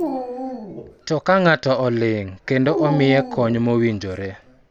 To ka ng�ato oling� kendo omiye kony mowinjore,